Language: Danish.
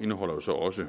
indeholder jo så også